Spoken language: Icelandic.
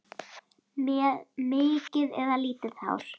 Með mikið eða lítið hár?